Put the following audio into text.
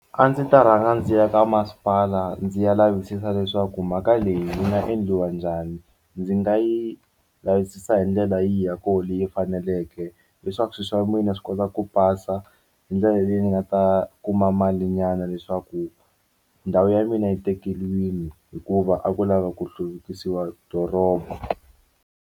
A ndzi ta rhanga ndzi ya ka masipala ndzi ya lavisisa leswaku mhaka leyi yi nga endliwa njhani ndzi nga yi lavisisa hi ndlela yihi ya koho leyi faneleke leswaku swilo swa mina swi kota ku pasa hi ndlela leyi ni nga ta kuma mali nyana leswaku ndhawu ya mina yi tekeriwile hikuva a ku lava ku hluvukisiwa doroba.